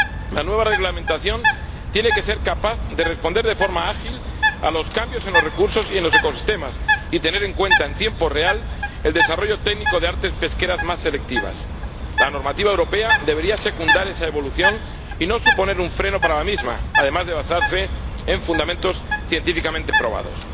La nueva reglamentación tiene que ser capaz de responder de forma ágil a los cambios en los recursos y en los ecosistemas y tener en cuenta en tiempo real el desarrollo técnico de artes pesqueras más selectivas. La normativa europea debería secundar esa evolución, y no suponer un freno para la misma, además de basarse en fundamentos científicamente probados.